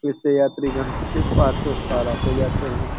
इस से यात्री-गण इस पार से उस पार आते-जाते हैं।